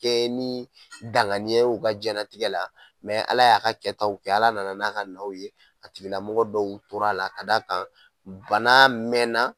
Kɛ ni dangniya ye u ka jɛnatigɛ la mɛ ala y'a ka kɛ ta kɛ ala nana n'a ka naw ye a tigilamɔgɔ dɔw tor'a la ka d'a kan bana mɛɛna